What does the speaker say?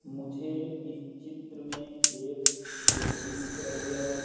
मुझे इस चित्र में एक झोपड़ी दिख रही है।